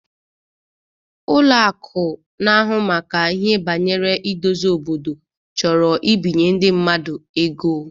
Ụlọ akụ na ahụ maka ihe bangere idozi obodo chọrọ ibinye ndi mmadu ego